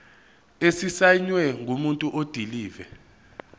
esisayinwe ngumuntu odilive